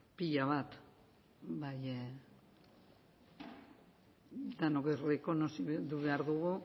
pila bat baina denok errekonozitu behar dugu